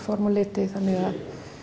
form og liti þannig að